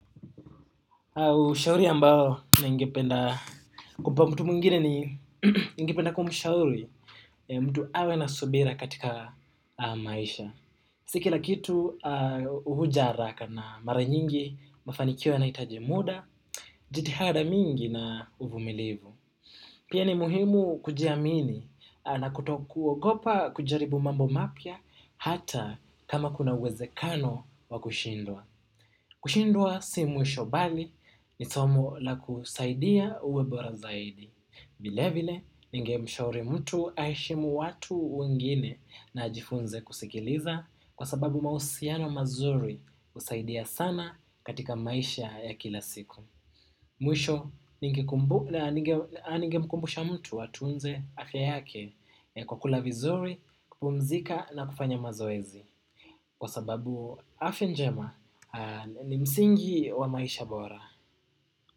Ushauri ambao ningependa kumpa mtu mwingine ni ningependa kumshauri mtu awe na subira katika maisha. Si kila kitu huja haraka na mara nyingi mafanikio yanahitaji muda, jitihada mingi na uvumilivu. Pia ni muhimu kujiamini na kutokuogopa kujaribu mambo mapya hata kama kuna uwezekano wa kushindwa. Kushindwa si mwisho bali ni somo la kusaidia uwe bora zaidi. Vile vile, ningemshauri mtu aheshimu watu wengine na ajifunze kusikiliza kwa sababu mahusiano mazuri husaidia sana katika maisha ya kila siku. Mwisho ningemkubusha mtu atunze afya yake, kwa kula vizuri kupumzika na kufanya mazoezi. Kwa sababu afya njema ni msingi wa maisha bora.